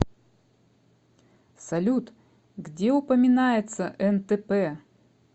салют где упоминается нтп